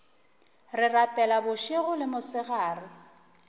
re rapela bošego le mosegare